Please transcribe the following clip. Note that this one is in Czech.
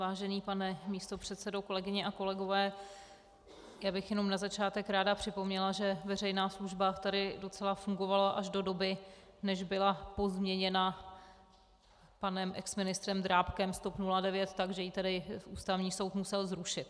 Vážený pane místopředsedo, kolegyně a kolegové, já bych jenom na začátek ráda připomněla, že veřejná služba tady docela fungovala až do doby, než byla pozměněna panem exministrem Drábkem z TOP 09, takže ji tedy Ústavní soud musel zrušit.